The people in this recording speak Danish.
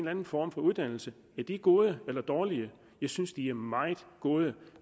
anden form for uddannelse er de gode eller dårlige jeg synes de er meget gode